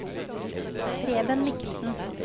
Preben Michelsen